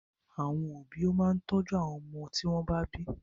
Àwọn òbí ó máa tọ́jú ọmọ tí wọ́n bá bí.